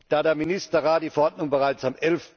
Da der Ministerrat die Verordnung bereits am